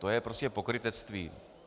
To je prostě pokrytectví.